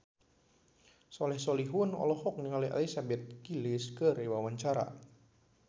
Soleh Solihun olohok ningali Elizabeth Gillies keur diwawancara